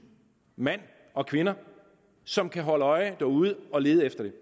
mænd og kvinder som kan holde øje derude og lede efter det